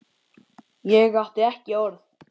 Ég átti ekki orð.